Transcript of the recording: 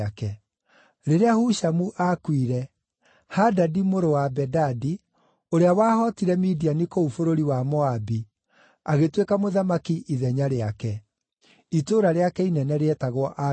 Rĩrĩa Hushamu aakuire, Hadadi mũrũ wa Bedadi, ũrĩa wahootire Midiani kũu bũrũri wa Moabi, agĩtuĩka mũthamaki ithenya rĩake. Itũũra rĩake inene rĩetagwo Avithu.